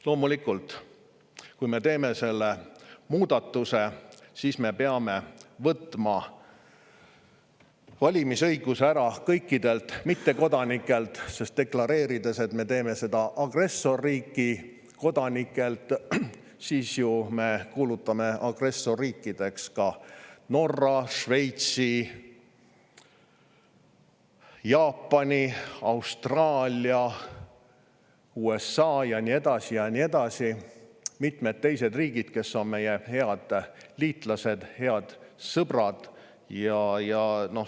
Loomulikult, kui me teeme selle muudatuse, siis me peame võtma valimisõiguse ära kõikidelt mittekodanikelt, sest deklareerides, et me agressorriigi kodanikelt, me ju kuulutame agressorriikideks ka Norra, Šveitsi, Jaapani, Austraalia, USA ja nii edasi ja nii edasi, mitmed teised riigid, kes on meie head liitlased, head sõbrad.